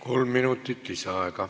Kolm minutit lisaaega.